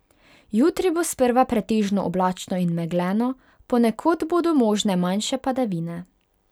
Jutri bo sprva pretežno oblačno in megleno, ponekod bodo možne manjše padavine.